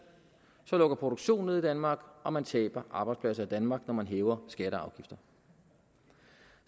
lukker produktion ned i danmark og man taber arbejdspladser i danmark når man hæver skatter